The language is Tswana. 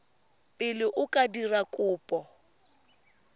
pele o ka dira kopo